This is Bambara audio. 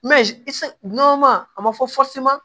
a ma fɔ